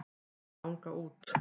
Þau ganga út.